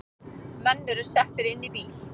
Menn eru settir inn í bíl